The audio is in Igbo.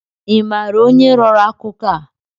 Ị maara onye rọrọ akụkọ a?